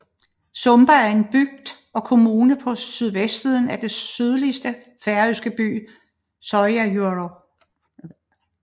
Sumba er en bygd og kommune på sydvestsiden af den sydligste færøske ø Suðuroy